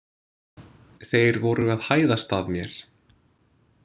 Þeir voru að hæðast að mér!